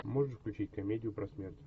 можешь включить комедию про смерть